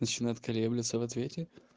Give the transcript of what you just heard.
начинает колеблется в ответе